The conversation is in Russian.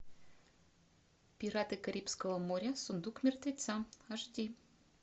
пираты карибского моря сундук мертвеца аш ди